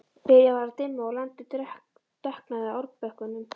Byrjað var að dimma og landið dökknaði á árbökkunum.